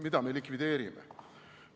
Mida me likvideerime?